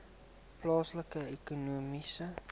plaaslike ekonomiese